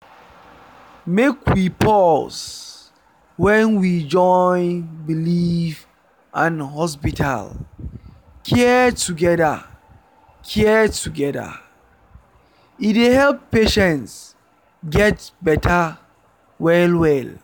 make we pause — when we join belief and hospital care together care together e dey help patients get better well-well.